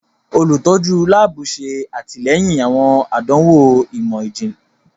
Olutọju laabu ṣe atilẹyin awọn àdánwò imọ-jinlẹ.